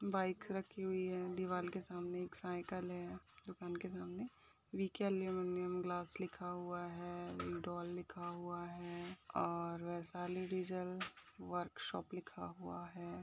Bike रखी हुई है दीवाल के सामने एक साइकिल है दुकान के सामने वि-के एल्युमीनियम ग्लास लिखा हुआ है वीडॉल लिखा हुआ है और वैशाली डीजल वर्कशॉप लिखा हुआ है।